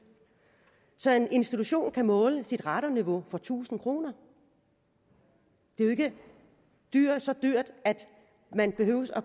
så en institution kan måle sit radonniveau for tusind kroner det er jo ikke så dyrt at man behøver